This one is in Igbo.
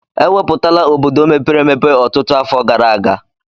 E wupụtala obodo mepere emepe ọtụtụ afọ gara aga.